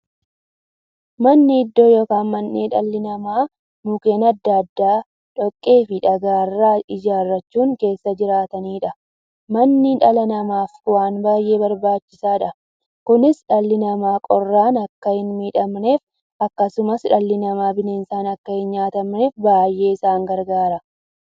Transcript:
Manni iddoo yookiin mandhee dhalli namaa Mukkeen adda addaa, dhoqqeefi dhagaa irraa ijaarachuun keessa jiraataniidha. Manni dhala namaaf waan baay'ee barbaachisaadha. Kunis, dhalli namaa qorraan akka hinmiidhamneefi akkasumas dhalli namaa bineensaan akka hinnyaatamneef baay'ee isaan gargaara.